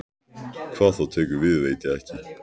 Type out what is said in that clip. Hvað þá tekur við veit ég ekki.